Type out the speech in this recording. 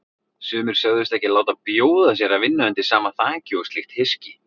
Sumir sögðust ekki láta bjóða sér að vinna undir sama þaki og slíkt hyski.